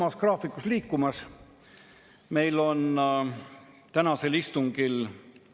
Nii et sellest 1928 eurost laias laastus viiendik – eeldusel, et ta kulutab kogu raha ära kaupade-teenuste soetamiseks – läheb veel omakorda riigile maksudeks.